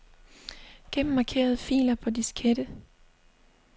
Gem markerede filer på diskette.